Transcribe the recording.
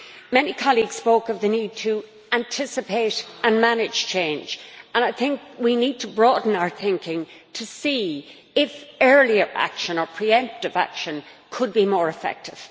Many colleagues spoke of the need to anticipate and manage change, and I think we need to broaden our thinking to see if earlier action or pre emptive action could be more effective.